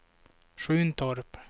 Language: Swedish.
Sjuntorp